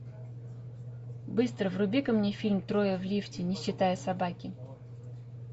быстро вруби ка мне фильм трое в лифте не считая собаки